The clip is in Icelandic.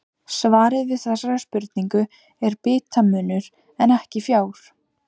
Svarið við þessari spurningu er bitamunur en ekki fjár.